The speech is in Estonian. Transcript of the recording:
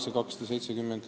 Raivo Põldaru, palun!